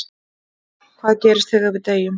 En hvað gerist þegar við deyjum?